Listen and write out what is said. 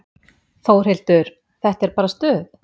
Þórhildur: Þetta er bara stuð?